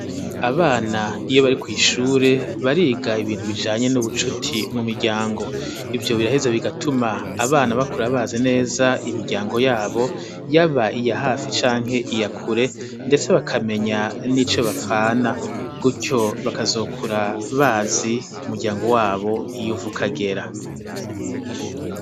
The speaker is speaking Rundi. Abana, iyo bari kw'ishure, bariga ibintu, bijanye n'ubucuti, mu miryango; ivyo biraheza bigatuma, abana bakura bazi neza, imiryango yabo, yaba iya hafi, canke iya kure, ndetse bakamenya, n'ico bapfana, gutyo bakazokura, bazi umuryango wabo, iyo uva ukagera.